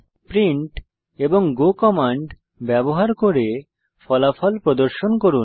print এবং go command ব্যবহার করে ফলাফল প্রদর্শন করুন